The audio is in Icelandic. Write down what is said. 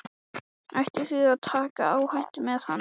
Ættum við að taka áhættu með hann?